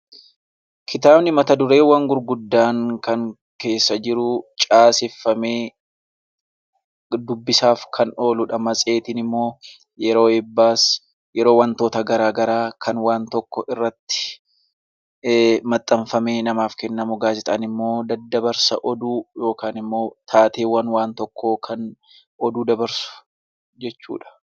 Kitaabni mata dureewwam gurguddaan keessa jiruu, caaseffamee dubbisaaf kan ooludha. Matseetiin immoo yeroo eebbaas yeroo waantota garaagaraas kan waan tokko irratti maxxanfamee namaaf kennamu. Gaazexaan daddabarsa oduu yookaan taateewwan waan tokkoo kan Oduu dabarsu jechuudha.